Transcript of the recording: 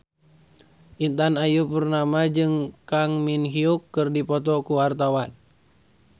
Intan Ayu Purnama jeung Kang Min Hyuk keur dipoto ku wartawan